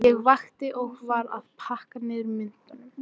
Ég vakti og var að pakka niður myndunum.